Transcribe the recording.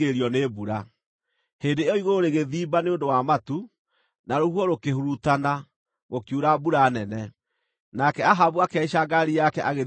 Hĩndĩ ĩyo igũrũ rĩgĩthimba nĩ ũndũ wa matu, na rũhuho rũkĩhurutana, gũkiura mbura nene, nake Ahabu akĩhaica ngaari yake agĩthiĩ Jezireeli.